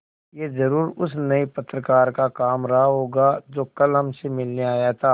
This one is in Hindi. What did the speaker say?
यह ज़रूर उस नये पत्रकार का काम रहा होगा जो कल हमसे मिलने आया था